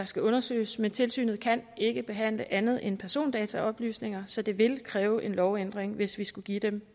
skal undersøges men tilsynet kan ikke behandle andet end persondataoplysninger så det vil kræve en lovændring hvis vi skulle give dem